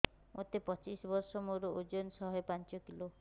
ମୋତେ ପଚିଶି ବର୍ଷ ମୋର ଓଜନ ଶହେ ପାଞ୍ଚ କିଲୋ